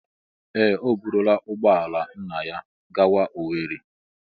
Ee! O burula ụgbọ ala nna ya gawa Owerri.